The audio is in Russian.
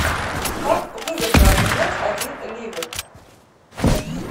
как выгодно обменять один ливр